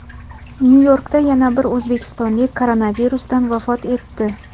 Nyu-Yorkda yana bir o‘zbekistonlik koronavirusdan vafot etdi.